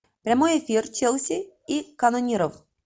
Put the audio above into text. прямой эфир челси и канониров